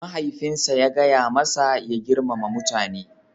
Mahaifinsa ya gaya masa ya girmama mutane